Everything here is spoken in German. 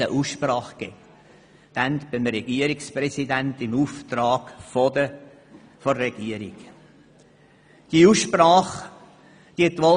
Im Auftrag der Regierung gab es danach eine Aussprache beim damaligen Regierungspräsidenten.